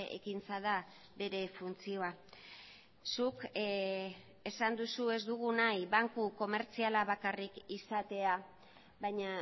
ekintza da bere funtzioa zuk esan duzu ez dugu nahi banku komertziala bakarrik izatea baina